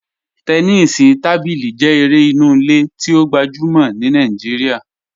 Tẹ́nìsí tábílí jẹ èrè ìnú ìlẹ̀ tí o gbajúmọ̀ ní Naijíríà,